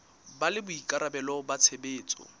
ba le boikarabelo ba tshebetso